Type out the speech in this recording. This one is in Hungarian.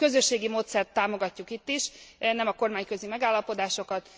A közösségi módszert támogatjuk itt is, nem a kormányközi megállapodásokat.